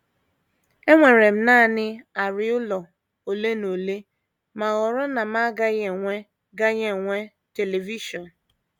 Enwere m nanị arịa ụlọ ole na ole ma họrọ na m gaghị enwe gaghị enwe telivishọn.